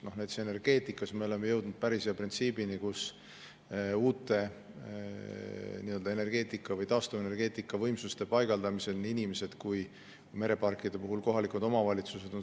Näiteks energeetikas me oleme jõudnud päris hea printsiibini, et uute energeetika või taastuvenergeetika võimsuste paigaldamisest saavad kasu inimesed ja mereparkide puhul ka kohalikud omavalitsused.